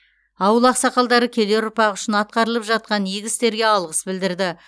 ауыл ақсақалдары келер ұрпақ үшін атқарылып жатқан игі істерге алғыс білдірді